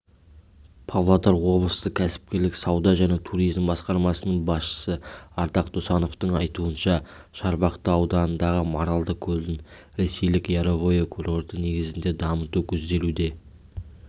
павлодар облыстық кәсіпкерлік сауда және туризм басқармасының басшысы ардақ досановтың айтуынша шарбақты ауданындағы маралды көлін ресейлік яровое курорты негізінде дамыту көзделуде